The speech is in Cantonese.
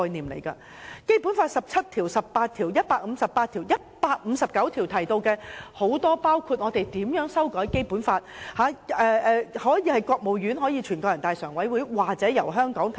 此外，《基本法》第十七條、第十八條、第一百五十八條及第一百五十九條，均提到人大常委會，第一百五十九條又訂明，修改《基本法》的提案可以由國務院、人大常委會或香港提出。